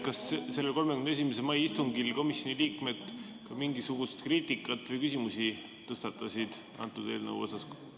Kas sellel 31. mai istungil komisjoni liikmed ka mingisugust kriitikat või küsimusi selle eelnõu kohta tõstatasid?